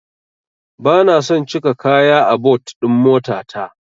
Bana son cika kaya a but ɗin motata.